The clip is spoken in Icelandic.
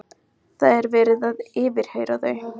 Það er verið að yfirheyra þau.